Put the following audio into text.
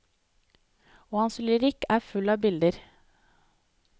Og hans lyrikk er full av bilder.